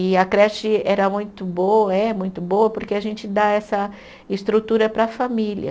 E a creche era muito boa, é muito boa, porque a gente dá essa estrutura para a família.